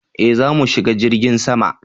eh zamu shiga jirgin sama